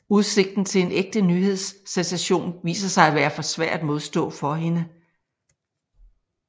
Udsigten til en ægte nyhedssensation viser sig at være for svær at modstå for hende